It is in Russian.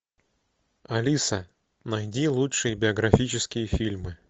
алиса найди лучшие биографические фильмы